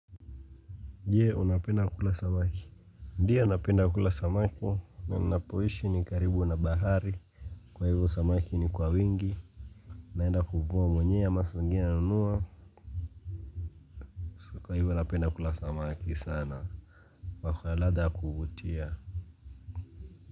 Je unapenda kula samaki Ndiyo napenda kula samaki na unapoishi ni karibu na bahari Kwa hivo samaki ni kwa wingi naenda kufua mwenyewe ama saa ingine nanunua Kwa hivo napenda kula samaki sana wakona ladha ya kuvutia.